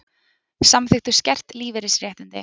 Samþykktu skert lífeyrisréttindi